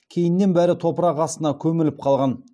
кейіннен бәрі топырақ астына көміліп қалған